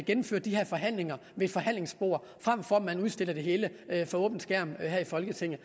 gennemfører de her forhandlinger ved et forhandlingsbord frem for at man udstiller det hele for åben skærm her i folketinget